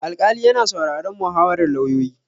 Alƙali yana sauraron muhawarar lauyoyi.